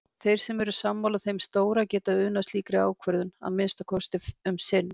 Þeir sem eru sammála þeim stóra geta unað slíkri ákvörðun- að minnsta kosti um sinn.